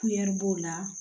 b'o la